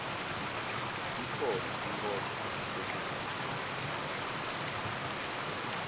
tikhona tinkhomba tekuvisisa